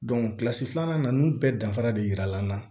kilasi filanan na ninnu bɛɛ danfara de yirala an na